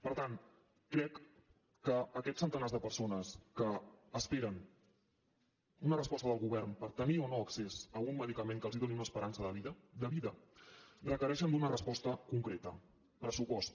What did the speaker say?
per tant crec que aquests centenars de persones que esperen una resposta del govern per tenir o no accés a un medicament que els doni una esperança de vida de vida requereixen una resposta concreta pressupost